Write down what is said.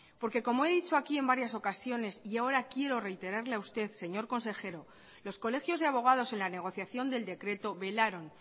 como he dicho aquí en varias ocasiones y ahora quiero reiterarle a usted señor consejero los colegios de abogados en la negociación del decreto velaron